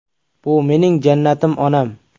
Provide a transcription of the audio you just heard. Bu mening jannatim onam.